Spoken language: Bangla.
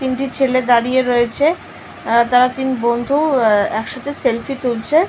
তিনটি ছেলে দাঁড়িয়ে রয়েছে আর তারা তিন বন্ধু আ একসাথে সেলফি তুলছে।